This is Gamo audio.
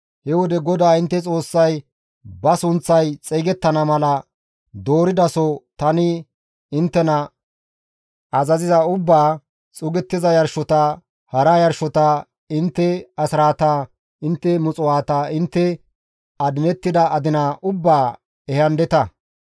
He wode GODAA intte Xoossay ba sunththay xeygettana mala dooridaso tani inttena azaziza ubbaa, xuugettiza yarshota, hara yarshota, intte asraata, intte muxuwaata, intte adinettida adina ubbaa ehandeta.